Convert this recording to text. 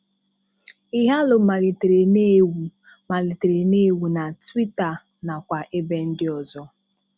Ighalo malitere na-éwu malitere na-éwu na Twitter nakwa ebe ndị ọzọ.